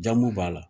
Jamu b'a la